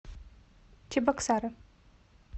чебоксары